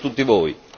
Auguri a tutti voi.